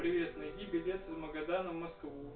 привет найди билет из магадана в москву